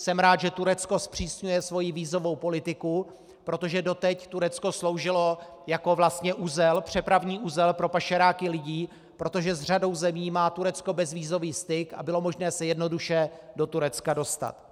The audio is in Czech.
Jsem rád, že Turecko zpřísňuje svoji vízovou politiku, protože doteď Turecko sloužilo jako vlastně uzel, přepravní uzel pro pašeráky lidí, protože s řadou zemí má Turecko bezvízový styk a bylo možné se jednoduše do Turecka dostat.